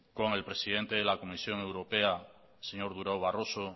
con el presidente de la comisión europea señor durao barroso